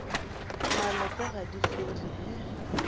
malopo ga di fele he